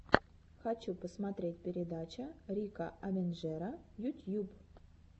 хочу посмотреть передача рика авенджера ютьюб